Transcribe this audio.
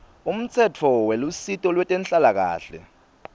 umtsetfo welusito lwetenhlalakahle